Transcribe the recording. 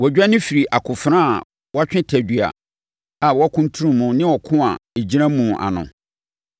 Wɔdwane firi akofena a watwe tadua a wɔakuntun mu ne ɔko a ɛgyina mu ano.